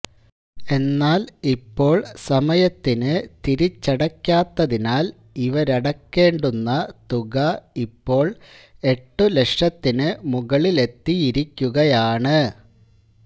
എന്നാൽ ഇപ്പോൾ സമയത്തിന് തിരിച്ചടയ്ക്കാത്തതിനാൽ ഇവരടക്കേണ്ടുന്ന തുക ഇപ്പോൾ എട്ടുലക്ഷത്തിന് മുകളിലെത്തിയിരിക്കുകയാണ്